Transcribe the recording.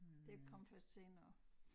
Det kom først senere